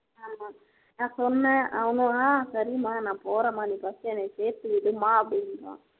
நான் சொன்னேன் அவங்க ஆஹ் சரிமா நான் போறேன்மா நீ first என்னைய சேர்த்துவிடு மா அப்படின்றான்